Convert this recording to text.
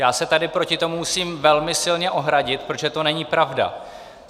Já se tady proti tomu musím velmi silně ohradit, protože to není pravda.